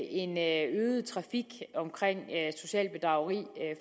en øget trafik omkring socialt bedrageri